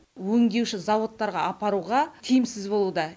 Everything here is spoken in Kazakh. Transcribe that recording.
өңдеуші зауыттарға апаруға тиімсіз болуда